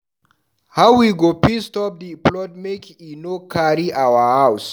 How we go fit stop di flood make e no carry our house?